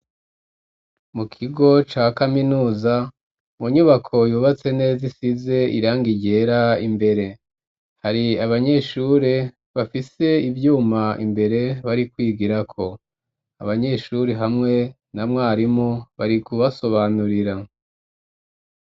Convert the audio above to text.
Mu kigo ca kaminuza, mu nyubako yubatse neza isize irangi ryera imbere hari abanyeshuri bafise ivyuma imbere bari kwigira ko abanyeshuri hamwe na mwarimu bari kubasobanurira.